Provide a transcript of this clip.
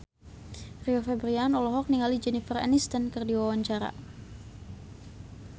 Rio Febrian olohok ningali Jennifer Aniston keur diwawancara